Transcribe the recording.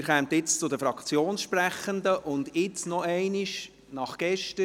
Wir kommen jetzt zu den Fraktionssprechenden – jetzt noch einmal, nach gestern.